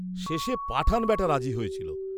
শেষে পাঠান্ বেটা রাজি হয়েছিল।